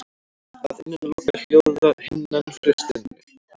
Að innan lokar hljóðhimnan hlustinni.